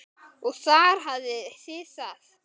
Og þar hafið þið það!